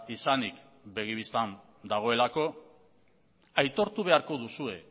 izanik begi bistan dagoelako aitortu beharko duzue